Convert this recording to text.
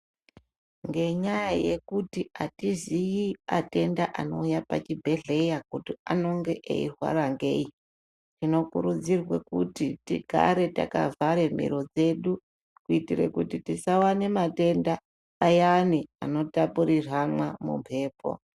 Ngenyaya yekuti atiziyi atenda anouya pachi bhedhlera kuti anenge eirwara ngei, tino kurudzirwa kuti tigare takavhara miro dzedu, kuitire kuti tisawane matenda, ayani ano tapuriranwa mumhepo.